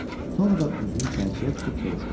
Sonra da üzünü çərçiyə tutub soruşdu: